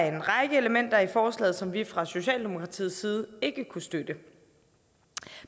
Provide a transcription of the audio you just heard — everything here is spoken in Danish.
en række elementer i forslaget som vi fra socialdemokratiets side ikke kunne støtte